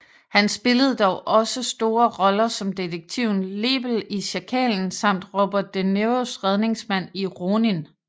Han spillede dog også store roller som detektiven Lebel i Sjakalen samt Robert de Niros redningsmand i Ronin